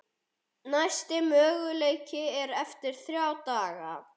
Næsti möguleiki er eftir þrjá daga.